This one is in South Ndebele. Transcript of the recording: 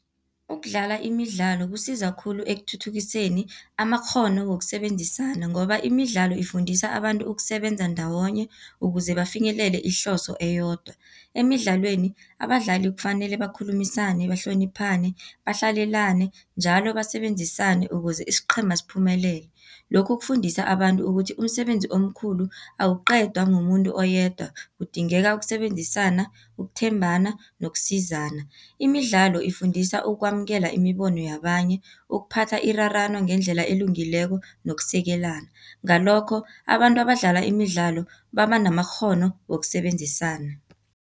Ukudlala imidlalo kusiza khulu ekuthuthukiseni amakghono wokusebenzisana, ngoba imidlalo ifundisa abantu ukusebenza ndawonye ukuze bafinyelele ihloso eyodwa. Emidlalweni abadlali kufanele bakhulumisane, bahloniphane, bahlalelane njalo basebenzisane ukuze isiqhema siphumelele. Lokhu kufundisa abantu ukuthi umsebenzi omkhulu, awuqedwa ngumuntu oyedwa kudingeka ukusebenzisana, ukuthembana nokusizana. Imidlalo ifundisa ukwamukela imibono yabanye, ukuphatha irarano ngendlela elungileko nokusekelana. Ngalokho abantu abadlala imidlalo baba namakghono wokusebenzisana.